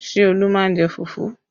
Ṣé Olu má ń jẹ fufu?